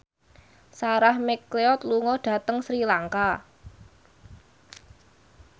Sarah McLeod lunga dhateng Sri Lanka